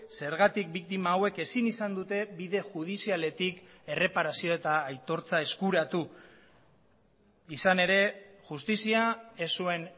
zergatik biktima hauek ezin izan dute bide judizialetik erreparazio eta aitortza eskuratu izan ere justizia ez zuen